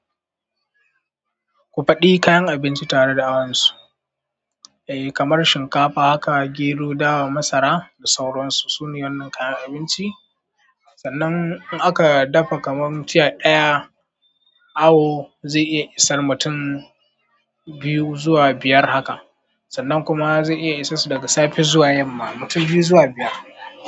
Ku faɗi kayan abinci tare da awansu. E, kamar shinkafa haka, gero, dawa, masara da sauransu. Su ne wannan kayan abinci. Sannan in aka dafa kamar tiya ɗaya, awo zai iya isar mutum biyu zuwa biyar haka. Sannan kuma zai iya isasu daga safe zuwa yamma. Mutum biyu zuwa biyar.